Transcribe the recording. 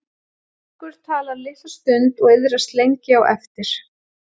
Margur talar litla stund og iðrast lengi á eftir.